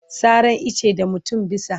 Saran icce da mutum bisa.